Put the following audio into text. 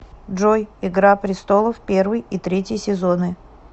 джой игра престолов первый и третий сезоны